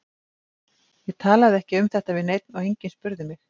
Ég talaði ekki um þetta við neinn og enginn spurði mig.